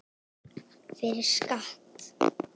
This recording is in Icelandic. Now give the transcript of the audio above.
Fyrir skatt.